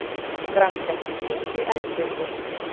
Grankell, hringdu í Eldbjörgu.